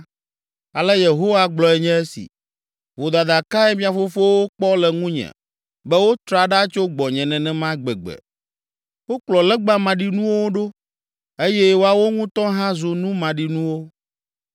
Ale Yehowa gblɔe nye si. “Vodada kae mia fofowo kpɔ le ŋunye be wotra ɖa tso gbɔnye nenema gbegbe? Wokplɔ legba maɖinuwo ɖo eye woawo ŋutɔ hã zu nu maɖinuwo.